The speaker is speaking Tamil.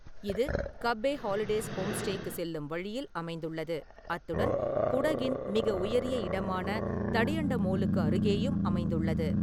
இது கப்பே ஹாலிடேஸ் ஹோம்ஸ்டேக்குச் செல்லும் வழியில் அமைந்துள்ளது, அத்துடன் குடகின் மிக உயரிய இடமான தடியண்டமோலுக்கு அருகேயும் அமைந்துள்ளது.